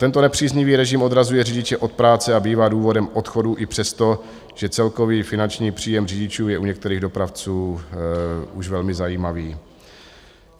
Tento nepříznivý režim odrazuje řidiče od práce a bývá důvodem odchodu i přesto, že celkový finanční příjem řidičů je u některých dopravců už velmi zajímavý.